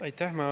Aitäh!